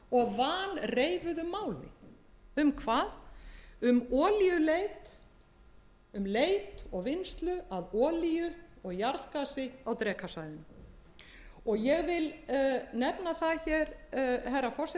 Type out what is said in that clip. og vanreifuðu máli um hvað um olíuleit um leit og vinnslu að olíu og jarðgasi á drekasvæðinu ég vil nefna það hér herra forseti strax í